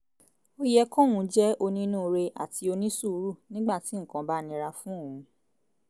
ó yẹ kóun jẹ́ onínúure àti onísùúrù nígbà tí nǹkan bá nira fún òun